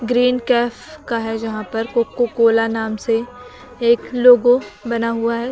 Green cafe का है यहां पर कोको कोला नाम से एक लोगो बना हुआ है।